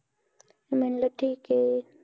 मी म्हणाल ठीक आहे